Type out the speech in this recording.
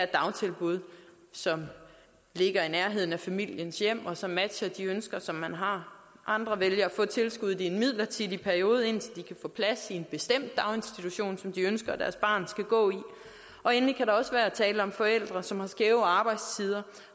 dagtilbud som ligger i nærheden af familiens hjem og som matcher de ønsker som man har andre vælger at få tilskuddet i en midlertidig periode indtil de kan få plads i en bestemt daginstitution som de ønsker at deres barn skal gå i og endelig kan der også være tale om forældre som har skæve arbejdstider